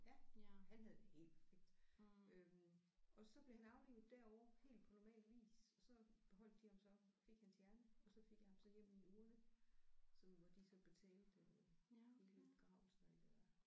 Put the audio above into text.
Ja han havde det helt perfekt øh og så blev han aflivet derovre helt på normal vis og så beholdte de ham så fik hans hjerne og så fik jeg ham så hjem i en urne sådan hvor de så betalte øh hele begravelsen og alt det der